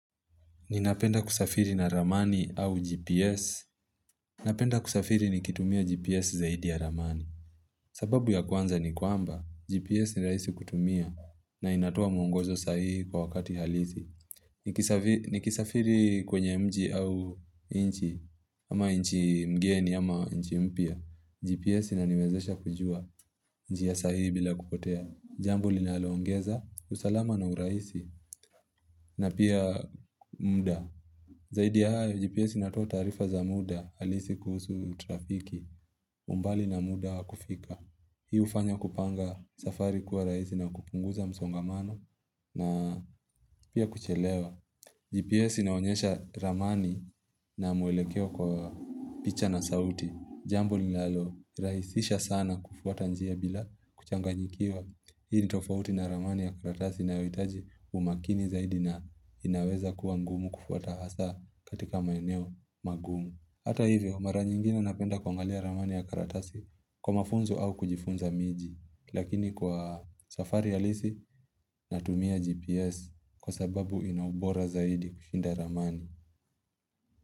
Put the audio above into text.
Ninapenda kusafiri na ramani au GPS. Napenda kusafiri nikitumia GPS zaidi ya ramani. Sababu ya kwanza ni kwamba, GPS niraisi kutumia na inatoa muongozo sahihi kwa wakati halisi. Nikisafiri kwenye mji au nchi, ama nchi mgeni ama nchi mpya. GPS inaniwezesha kujua njia sahihi bila kupotea. Jambo linaloongeza, usalama na uraisi na pia mda. Zaidi hayo, GPS inatoa taarifa za muda halisi kuhusu trafiki, umbali na muda wa kufika. Hii hufanya kupanga safari kuwa rahisi na kupunguza msongamano na pia kuchelewa. GPS inaonyesha ramani na mwelekeo kwa picha na sauti. Jambo linalorahisisha sana kufuata njia bila kuchanganyikiwa. Hii ni tofauti na ramani ya karatasi inayohitaji umakini zaidi na inaweza kuangumu kufuata hasa katika maeneo magumu. Hata hivyo, mara nyingine napenda kuangalia ramani ya karatasi, kwa mafunzo au kujifunza miji. Lakini kwa safari halisi, natumia GPS kwa sababu inaubora zaidi kushinda ramani.